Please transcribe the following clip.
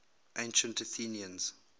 ancient athenians